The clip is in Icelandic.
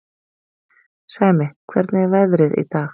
Sæmi, hvernig er veðrið í dag?